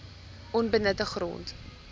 onbenutte grond